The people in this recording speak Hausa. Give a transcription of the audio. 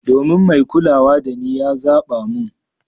Domin mai kulawa dani ya zaba mun.